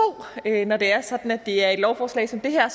når det er sådan at det er et lovforslag som det her